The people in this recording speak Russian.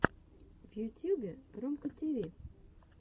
в ютьюбе ромка тиви